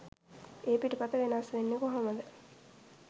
ඒ පිටපත වෙනස් වෙන්නෙ කොහොමද?